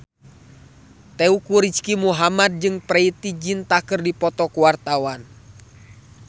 Teuku Rizky Muhammad jeung Preity Zinta keur dipoto ku wartawan